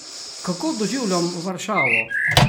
Kako doživljam Varšavo?